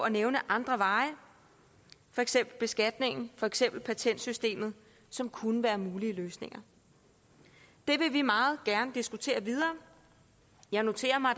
at nævne andre veje for eksempel beskatningen for eksempel patentsystemet som kunne være mulige løsninger det vil vi meget gerne diskutere videre jeg noterer mig at